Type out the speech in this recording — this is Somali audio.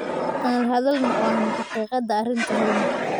Aan la hadalno oo aan xaqiiqada arrinta helno.